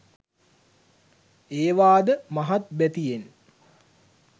ඒවා ද මහත් බැතියෙන්